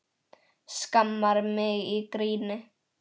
Skammar mig í gríni.